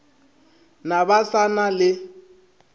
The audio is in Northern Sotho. na ba sa na le